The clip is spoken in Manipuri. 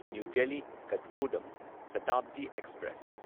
ꯅ꯭ꯌꯨ ꯗꯦꯜꯂꯤ ꯀꯊꯒꯣꯗꯝ ꯁꯇꯥꯕꯗꯤ ꯑꯦꯛꯁꯄ꯭ꯔꯦꯁ